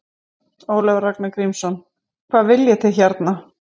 Ólafur Ragnar Grímsson: Hvað viljið þið hérna?